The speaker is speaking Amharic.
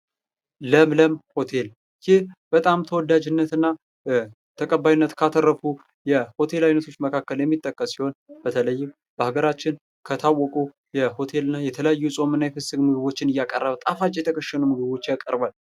ለምለም ሆቴል ይህም በጣም ተወዳጅነትና ተቀባይነትን ካተረፉ የሆቴል መካከል የሚጠቀስ ሲሆን በተለይም በአገራችን ከታወቁ የሆቴል እና የተለያዩ የጾምና የፍስክ ምግቦችን እያቀረበ ጣፋጭ የተከሸኑ ምግቦችን ያቀርል ።